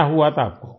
क्या हुआ था आपको